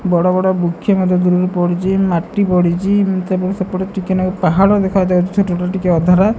ବଡ଼ ବଡ଼ ବୃକ୍ଷ ମଧ୍ୟ ଦୂରରୁ ପଡିଛି ମାଟି ପଡିଛି ତେବେ ସେପଟୁ ଟିକେ ନାଗୁରୁ ପାହାଡ଼ ଦେଖା ଯାଉଛି ଛୋଟ ଛୋଟ ଟିକେ ଅଧରା।